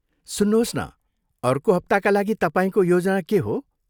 सुन्नुहोस् न, अर्को हप्ताका लागि तपाईँको योजना के हो?